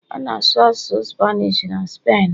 A na-asụ asụsụ Spanish na Spen